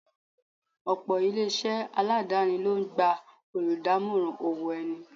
Ọ̀pọ̀ ilé-isé aladani ló ń gba oludamoran owó ẹni.